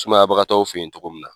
Sumayabagatɔw fe yen togo min na